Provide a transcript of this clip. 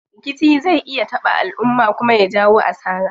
Rikici zai iya taɓa alumma kuma ya jawo asara.